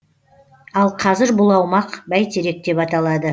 ал қазір бұл аумақ бәйтерек деп аталады